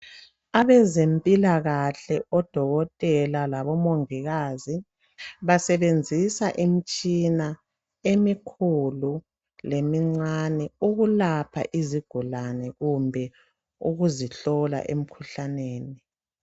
Abezempilakahle oDokotela laboMongikazi basebenzisa imitshina emikhulu lemincane ukulapha izigulane kumbe ukuzihlola emkhuhlaneni.